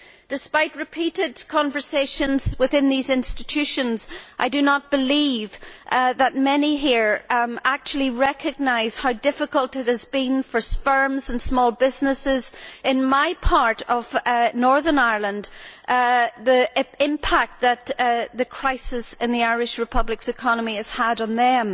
Despite repeated conversations within these institutions, I do not believe that many here actually recognise how difficult it has been for firms and small businesses and, in my part of Northern Ireland, the impact that the crisis in the Irish Republic's economy has had on them.